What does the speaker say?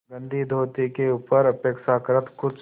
गंदी धोती के ऊपर अपेक्षाकृत कुछ